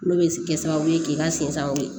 N'o bɛ se kɛ sababu ye k'i ka sen sangaw